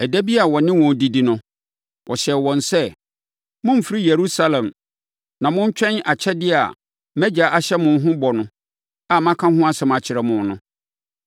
Ɛda bi a ɔne wɔn redidi no, ɔhyɛɛ wɔn sɛ, “Mommfiri Yerusalem, na montwɛn akyɛdeɛ a mʼAgya ahyɛ mo ho bɔ a maka ho asɛm akyerɛ mo no.